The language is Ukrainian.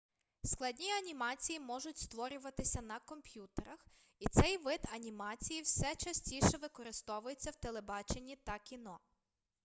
складні анімації можуть створюватися на комп'ютерах і цей вид анімації все частіше використовується у телебаченні та кіно